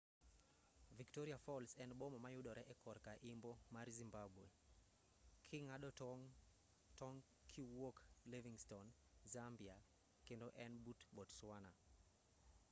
victoria falls en boma ma yudore e korka imbo mar zimbabwe king'ado tong' kiwuok livingstone zambia kendo en but botswana